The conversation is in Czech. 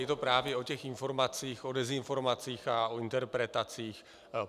Je to právě o těch informacích, o dezinformacích a o interpretacích.